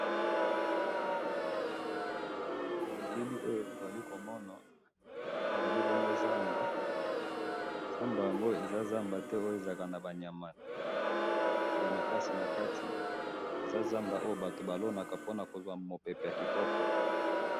Elili oyo tozali komona, ezali bongo zamba, zamba yango eza zamba te oyo ezalaka nabanyama yamakasi nakati, eza zamba oyo batu balonaka ponakozwa mupepe yakitoko